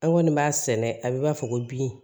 An kɔni b'a sɛnɛ a bɛ b'a fɔ ko bi